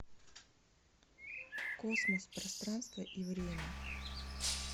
космос пространство и время